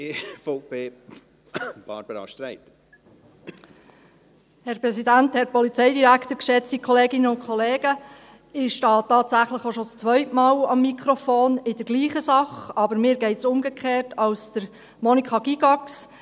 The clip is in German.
Ich stehe tatsächlich auch schon das zweite Mal in der gleichen Sache am Mikrofon, aber mir geht es umgekehrt als Monika Gygax: